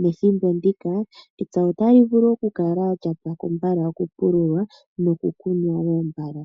nethimbo ndika epya otali vulu okupwako mbala okupulula noku kunwa wo mbala.